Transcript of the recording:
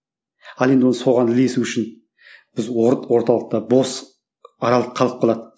ал енді оны соған ілесу үшін біз орталықта бос аралық қалып қалады